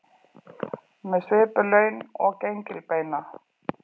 Með svipuð laun og gengilbeina